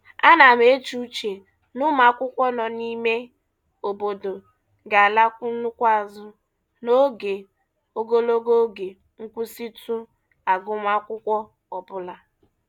Ana m eche uche na ụmụakwụkwọ nọ n'ime obodo ga-alakwu nnukwu azụ n'oge ogologo oge nkwụsịtụ agụmakwụkwọ ọbụla.